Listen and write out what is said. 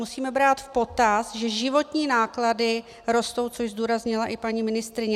Musíme brát v potaz, že životní náklady rostou, což zdůraznila i paní ministryně.